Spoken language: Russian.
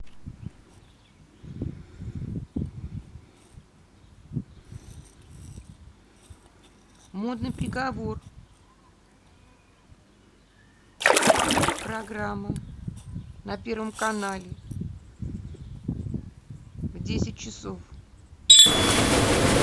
модный приговор программа на первом канале в десять часов